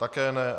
Také ne.